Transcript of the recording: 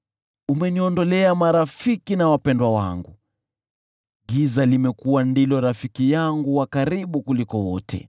Umeniondolea marafiki na wapendwa wangu; giza limekuwa ndilo rafiki yangu wa karibu kuliko wote.